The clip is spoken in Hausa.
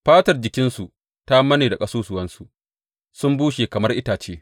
Fatar jikinsu ta manne da ƙasusuwansu; sun bushe kamar itace.